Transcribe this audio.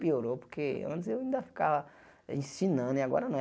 Piorou, porque antes eu ainda ficava ensinando e agora não.